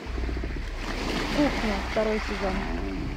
кухня второй сезон